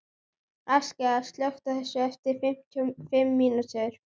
Askja, slökktu á þessu eftir fimmtíu og fimm mínútur.